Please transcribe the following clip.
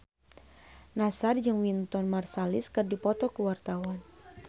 Nassar jeung Wynton Marsalis keur dipoto ku wartawan